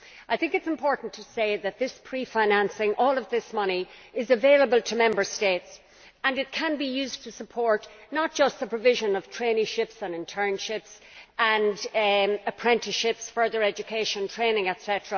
I think it is important to say that this pre financing all of this money is available to Member States and it can be used to support, not just the provision of traineeships and internships and apprenticeships, further education, training, etc.,